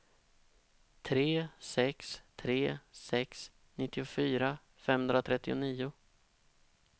tre sex tre sex nittiofyra femhundratrettionio